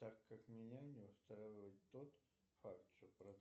так как меня не устраивает тот факт что